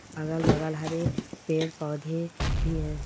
अगल-बगल हरे पेड़ पौधे भी हैं ।